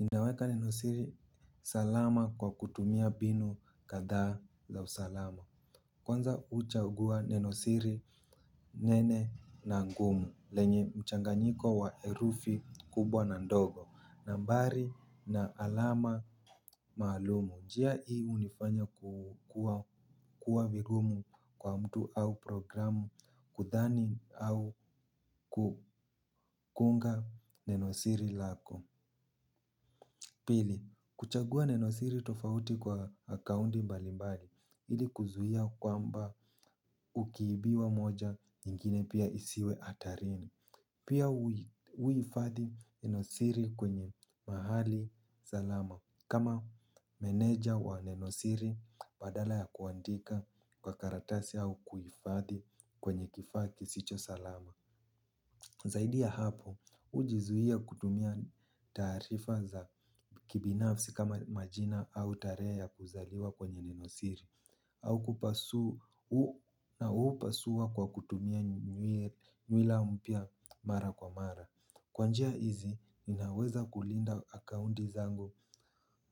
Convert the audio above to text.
Ninaweka nenosiri salama kwa kutumia mbinu kadhaa za usalama. Kwanza uchagua nenosiri nene na ngumu, lenye mchanganyiko wa herufi kubwa na ndogo, nambari na alama maalumu. Njia hii hunifanya ku kuwa kuwa vigumu kwa mtu au programu kudhani au kukunga nenosiri lako. Pili, kuchagua nenosiri tofauti kwa akaunti mbalimbali ili kuzuia kwamba ukiibiwa moja nyingine pia isiwe hatarini. Pia uhifadhi nenosiri kwenye mahali salama. Kama meneja wa nenosiri badala ya kuandika kwa karatasi au kuhifadhi kwenye kifaa kisicho salama. Zaidi ya hapo, hujizuia kutumia taarifa za kibinafsi kama majina au tarehe ya kuzaliwa kwenye nenosiri au kupasu. Na hupasua kwa kutumia nywi nywila mpya mara kwa mara. Kwa njia hizi, ninaweza kulinda akaunti zangu